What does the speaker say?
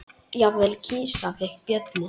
Jafnvel kisa fékk bjöllu.